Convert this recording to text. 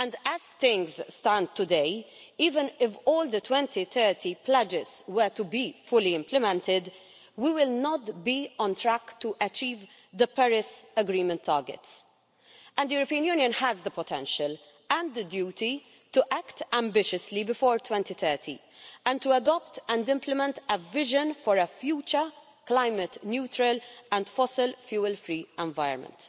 As things stand today, even if all the 2030 pledges were to be fully implemented, we would not be on track to achieve the Paris Agreement targets. The European Union has the potential and the duty to act ambitiously before 2030 and to adopt and implement a vision for a future climate neutral and fossil fuel free environment.